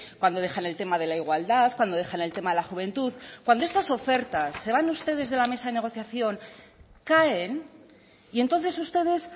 cuando dejan el tema de la igualdad cuando dejan el tema de la juventud cuando estas ofertas se van ustedes de la mesa de negociación caen y entonces ustedes